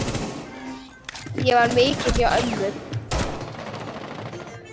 Ég var mikið hjá ömmu.